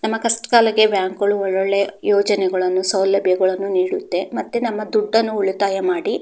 ನಮ್ಮ ಕಸ್ಟ್ ಕಾಲಕ್ಕೆ ಬ್ಯಾಂಕು ಗಳು ಒಳ್ಳೆ ಒಳ್ಳೆ ಯೋಜನೆಗಳ್ಳನ್ನು ಸೌಲಭ್ಯಗಳ್ಳನ್ನು ನೀಡುತ್ತೆ ನಮ್ಮ ದುಡ್ಡನ್ನ ಉಳಿತಾಯ ಮಾಡಿ --